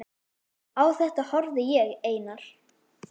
Á þetta horfði ég, Einar